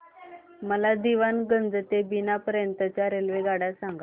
मला दीवाणगंज ते बिना पर्यंत च्या रेल्वेगाड्या सांगा